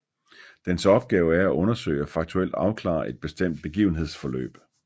Dens opgave er at undersøge og faktuelt afklare et bestemt begivenhedsforløb